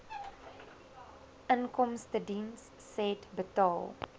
inkomstediens said inbetaal